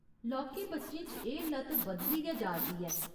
लौह्के बच्चें च एह् लत बधदी गै जा'रदी ऐ।